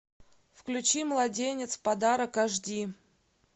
включи младенец в подарок аш ди